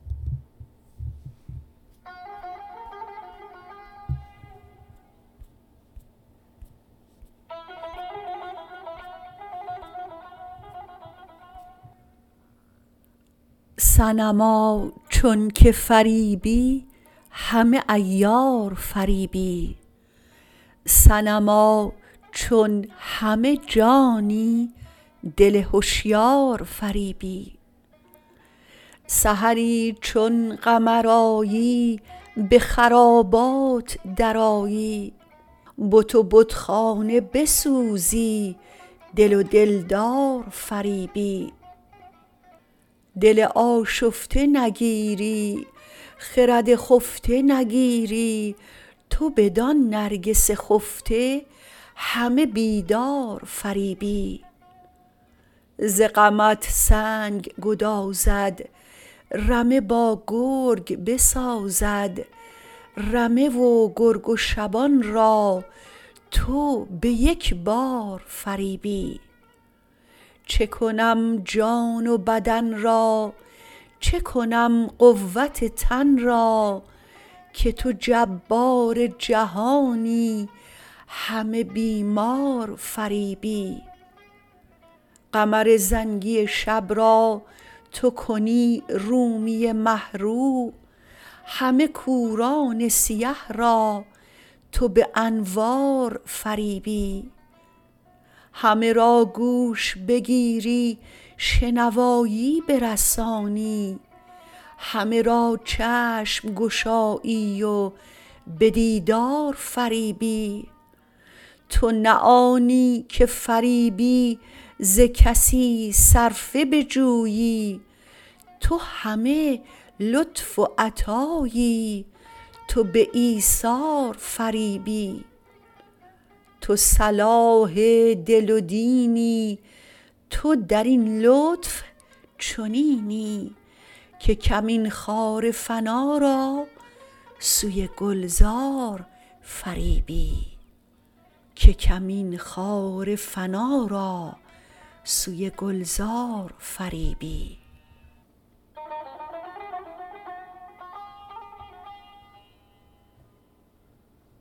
صنما چونک فریبی همه عیار فریبی صنما چون همه جانی دل هشیار فریبی سحری چون قمر آیی به خرابات درآیی بت و بتخانه بسوزی دل و دلدار فریبی دل آشفته نگیری خرد خفته نگیری تو بدان نرگس خفته همه بیدار فریبی ز غمت سنگ گدازد رمه با گرگ بسازد رمه و گرگ و شبان را تو به یک بار فریبی چه کنم جان و بدن را چه کنم قوت تن را که تو جبار جهانی همه بیمار فریبی قمر زنگی شب را تو کنی رومی مه رو همه کوران سیه را تو به انوار فریبی همه را گوش بگیری شنوایی برسانی همه را چشم گشایی و به دیدار فریبی تو نه آنی که فریبی ز کسی صرفه بجویی تو همه لطف و عطایی تو به ایثار فریبی تو صلاح دل و دینی تو در این لطف چنینی که کمین خار فنا را سوی گلزار فریبی